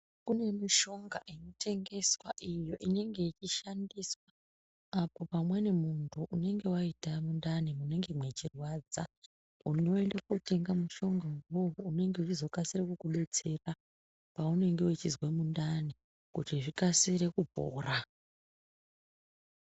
Kune mishonga ino tengeswa iyo inenge ichi shandiswa apo pamweni muntu unenge waita mundani munenge mwechi rwadza unoenda kotenga mushonga iwowo unenge weizo kasira kuku detsera pa unenge uchizwe mundani kuti zvikasire kupora.